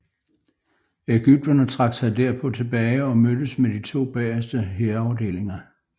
Ægypterne trak sig derpå tilbage og mødtes med de to bagerste hærafdelinger